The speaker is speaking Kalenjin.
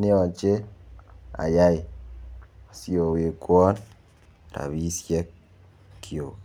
neyoche ayai siowekwon rabishek kyuk.